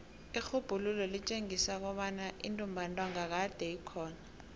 irhubhululo litjengisa kobana intumbantonga kade ikhona